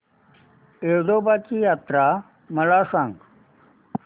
येडोबाची यात्रा मला सांग